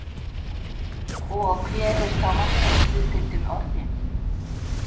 Og hver er þá markaðshlutdeildin orðin?